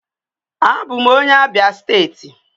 Abụ m onye Abia steeti.